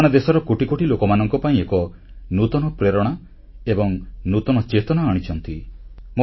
ସେମାନେ ଦେଶର କୋଟି କୋଟି ଲୋକମାନଙ୍କ ପାଇଁ ଏକ ନୂତନ ପ୍ରେରଣା ଏବଂ ନୂତନ ଚେତନା ଆଣିଛନ୍ତି